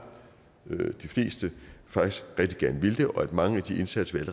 de fleste faktisk rigtig gerne vil det og at mange af de indsatser vi